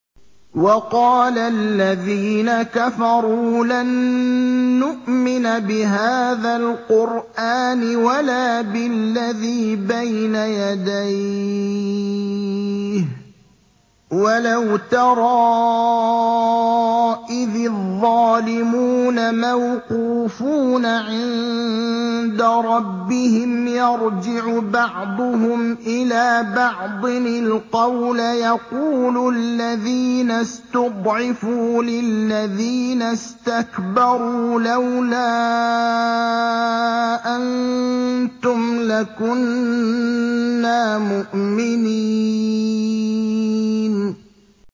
وَقَالَ الَّذِينَ كَفَرُوا لَن نُّؤْمِنَ بِهَٰذَا الْقُرْآنِ وَلَا بِالَّذِي بَيْنَ يَدَيْهِ ۗ وَلَوْ تَرَىٰ إِذِ الظَّالِمُونَ مَوْقُوفُونَ عِندَ رَبِّهِمْ يَرْجِعُ بَعْضُهُمْ إِلَىٰ بَعْضٍ الْقَوْلَ يَقُولُ الَّذِينَ اسْتُضْعِفُوا لِلَّذِينَ اسْتَكْبَرُوا لَوْلَا أَنتُمْ لَكُنَّا مُؤْمِنِينَ